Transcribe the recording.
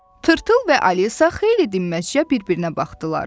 Tırtıl və Alisa xeyli dinməzcə bir-birinə baxdılar.